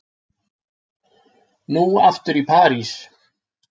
Nú aftur til Parísar.